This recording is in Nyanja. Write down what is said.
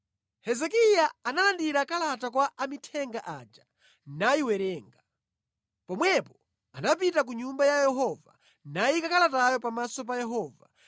Hezekiya analandira kalata kwa amithenga aja nayiwerenga. Pomwepo anapita ku Nyumba ya Yehova nayika kalatayo pamaso pa Yehova.